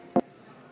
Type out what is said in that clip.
Aitäh, hea eesistuja!